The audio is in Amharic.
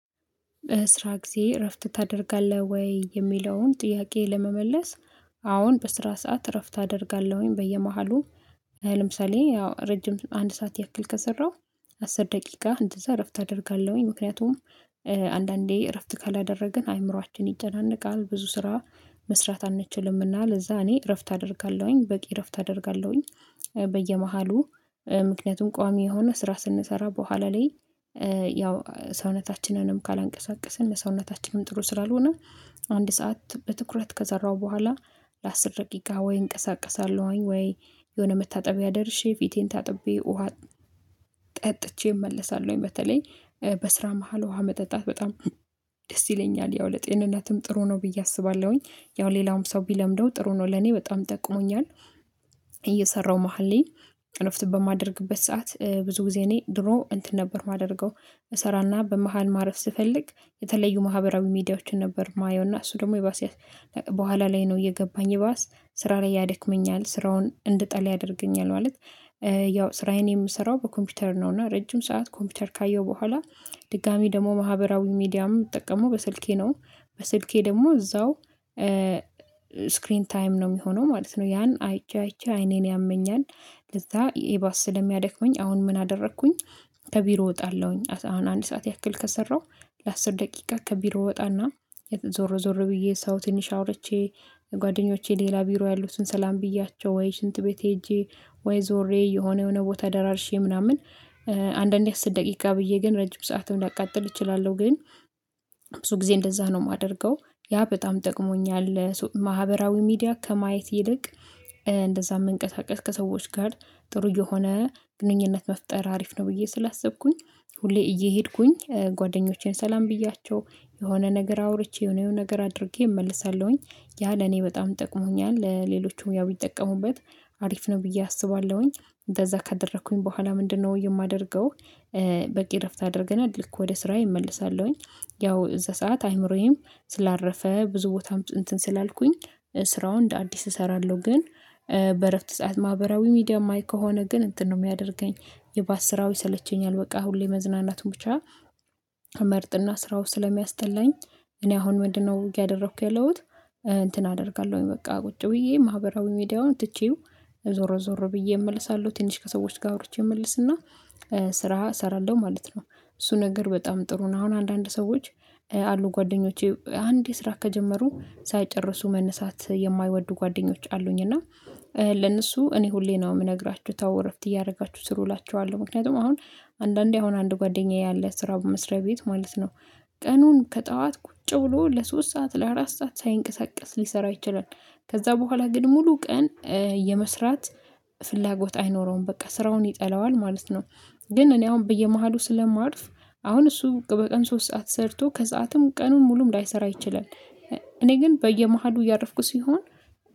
በስራ ጊዜ እረፍት ታደርጋለህ ወይ? የሚለውን ጥያቄ ለመመለስ አሁን በስራ ሰዓት እረፍት አደርጋለሁኝ በየመሃሉ። ለምሳሌ ያው ረጅም አንድ ሰዓት ያክል ከሰራሁ አስር ደቂቃ እንደዛ እረፍት አደርጋለሁኝ። ምክንያቱም አንዳንዴ እረፍት ካላደረግን አይምሮአችን ይጨናነቃል ብዙ ስራ መስራት አንችልምና ለዛ እኔ እረፍት አደርጋለሁኝ በቂ እረፍት አደርጋለሁኝ። በየመሃሉ ምክንያቱም ቋሚ የሆነ ስራ ስንሰራ በኋላ ላይ ያው ሰውነታችንንም ካላንቀሳቀስን ለሰውነታችንም ጥሩ ስላልሆነ። አንድ ሰዓት በትኩረት ከዘራሁ በኋላ ለአስር ደቂቅ ጋር ወይ እንቀሳቀሳለሁኝ። ወይ የሆነ መታጠቢያ ደርሼ ፊቴን ታጥቤ ውሃ ጠጥቼ እመለሳለሁኝ። በተለይ በስራ መሃል ውሃ መጠጣት በጣም ደስ ይለኛል ያው ለጤንነትም ጥሩ ነው ብዬ አስባለሁኝ። ያው ሌላውም ሰው ቢለምደው ጥሩ ነው ለኔ በጣም ጠቅሞኛል። እየሰራሁ መሃል ላይ እረፍት በማደርግበት ሰዓት ብዙ ጊዜ እኔ ድሮ እንትን ነበር የማደርገው። እሰራና በመሃል ማረፍ ስፈልግ የተለዩ ማህበራዊ ሚዲያዎችን ነበር ማየው እና እሱ ደግሞ ይባስ። በኋላ ላይ ነው እየገባኝ ይባስ ስራ ላይ ያድክመኛል ስራውን እንድጠል ያደርገኛል። ማለት ያው ስራዬን የምሰራው በኮምፒውተር ነው። እና ረጅም ሰዓት ኮምፒውተር ካየው በኋላ ድጋሚ ደግሞ ማህበራዊ ሚዲያም የምትጠቀመው በስልኬ ነው። በስልኬ ደግሞ እዛው ስክሪን ታይም ነው የሚሆነው ማለት ነው ያን አይቼ አይቼ አይኔን ያመኛል። ለዛ ኢባስ ስለሚያደክመኝ አሁን ምን አደረኩኝ። ከቢሮ እወጣለሁኝ አሁን አንድ ሰዓት ያክል ከሰራሁ ለአስር ደቂቃ ከቢሮ ወጣና የተዞረ ዞር ብዬ ሰው ትንሽ አውርቼ። ጓደኞቼ ሌላ ቢሮ ያሉትን ሰላም ብያቸው ወይ ሽንት ቤት ሄጄ ወይ ዞሬ የሆነ የሆነ ቦታ ደራርሼ ምናምን። አንዳንዴ አስር ደቂቃ ብዬ ግን ረጅም ሰዓትም ሊያቃጥል እችላለሁ ግን ብዙ ጊዜ እንደዛ ነው የማደርገው። ያ በጣም ጠቅሞኛል ማህበራዊ ሚዲያ ከማየት ይልቅ። እንደዛ መንቀሳቀስ ከሰዎች ጋር ጥሩ የሆነ ግንኙነት መፍጠር አሪፍ ነው ብዬ ስላሰብኩኝ። ሁሌ እየሄድኩኝ ጓደኞቼን ሰላም ብያቸው የሆነ ነገር አውርቼ የሆነ ነገር አድርጌ እመልሳለሁኝ። ያ ለኔ በጣም ጠቅሞኛል ለሌሎቹም ያው ይጠቀሙበት። አሪፍ ነው ብዬ አስባለሁኝ እንደዛ ካደረኩኝ በኋላ ምንድነው የማደርገው? በቂ እረፍት አድርገናል ልክ ወደ ስራዬ እመልሳለሁኝ። ያው እዛ ሰዓት አይምሮዬም ስላረፈ ብዙ ቦታም እንትን ስላልኩኝ ስራውን እንደ አዲስ እሰራለሁ ግን። በእረፍት ሰዓት ማህበራዊ ሚዲያ የማይ ከሆነ ግን እንትን ነው የሚያደርገኝ። የባስ ስራው ይሰለቸኛል በቃ ሁሌ መዝናናቱን ብቻ መርጥና ስራው ስለሚያስጠላኝ። እኔ አሁን ምንድነው ውጊያ ደረኩኝ ያለሁት? እንትን አደርጋለሁኝ በቃ ቁጭ ብዬ ማህበራዊ ሚዲያውን ትቼው። ዞሮ ዞሮ ብዬ እመልሳለሁ ትንሽ ከሰዎች ጋር አውርቼ እመልስና ስራ እሰራለሁ ማለት ነው። እሱ ነገር በጣም ጥሩ ነው። አሁን አንዳንድ ሰዎች አሉ ጓደኞቼ አንድ ስራ ከጀመሩ ሳይጨርሱ መነሳት የማይወዱ ጓደኞች አሉኝ እና። ለነሱ እኔ ሁሌ ነው የምነግራቸው ተው እረፍት እያደረጋችሁ ስሩ እላችኋለሁ። ምክንያቱም አሁን አንዳንዴ አሁን አንድ ጓደኛዬ አለ ስራ በመስሪያ ቤት ማለት ነው። ቀኑን ከጠዋት ቁጭ ብሎ ለሶስት ሰዓት ለአራት ሰዓት ሳይንቀሳቀስ ሊሰራ ይችላል። ከዛ በኋላ ግን ሙሉ ቀን የመስራት ፍላጎት አይኖረውም በቃ ስራውን ይጠላዋል ማለት ነው። ግን እኔ አሁን በየመሃሉ ስለማርፍ አሁን እሱ በቀን ሶስት ሰዓት ሰርቶ ከሰአትም ቀኑን ሙሉም ላይሰራ ይችላል። እኔ ግን በየመሃሉ እያረፍኩ ሲሆን